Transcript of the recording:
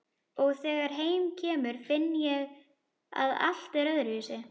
Og þegar heim kemur finn ég að allt er öðruvísi.